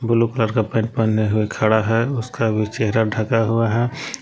Blue colour का pant पहने हुए खड़ा है उसका भी चेहरा ढका हुआ है।